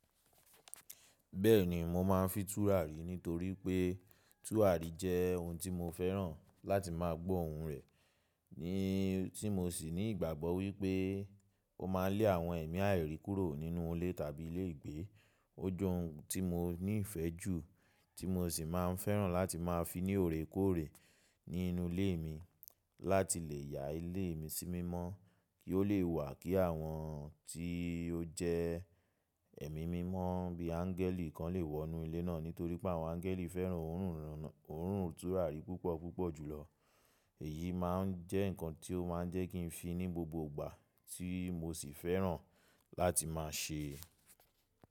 Bẹ́ẹ̀ni, mo máa ń fi tùràrí nítorí pé tùràrí jẹ́ ohun tí mo fẹ́ràn láti máa gbọ orùn rẹ̀, ní tí mo sì ní ìgbàgbọ́ wípé ó ma lé àwọn ẹ̀mí àìrí kúrò nínú ilé tàbí ilé ìgbé. Ó jẹ́ ohun tí mo ní ìfẹ́ jù, tí mo sì máa ń fẹ́ràn láti máa fi ní òrékọ́òrè ní inú ilé mi láti lè yá ilé mi sí mímọ́, kí ó lè wà kí àwọn tí ó jẹ́ ẹ̀mí mímọ́ bí áńgẹ́lì kan lè wọ inú ilé náà. Nítorí pé àwọn áńgẹ́lì fẹ́ràn òórùn tùràrí púpọ̀ púpọ̀ jùlọ. Èyí máa ń jẹ́ nǹkan tí ó máa ń jẹ́ kí n fi ní gbogbo ìgbà tí mo sì fẹ́ràn láti máa ṣe.